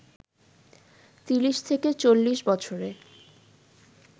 ৩০-৪০ বছরে